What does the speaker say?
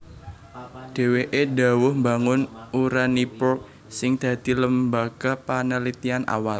Dhèwèké dhawuh mbangun Uraniborg sing dadi lembaga panelitian awal